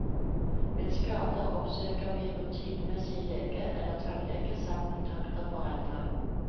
Ved skader oppsøker vi rutinemessig lege eller tannlege, samt kontakter foreldre.